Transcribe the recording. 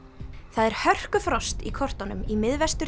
það er í kortunum í